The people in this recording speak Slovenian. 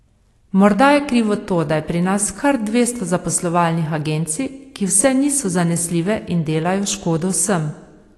Morda je krivo to, da je pri nas kar dvesto zaposlovalnih agencij, ki vse niso zanesljive in delajo škodo vsem.